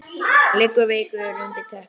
Liggur veikur undir teppi.